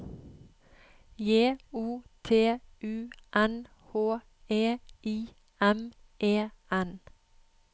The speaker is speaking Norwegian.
J O T U N H E I M E N